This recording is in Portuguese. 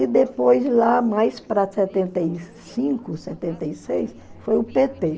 E depois, lá mais para setenta e cinco, setenta e seis, foi o pê tê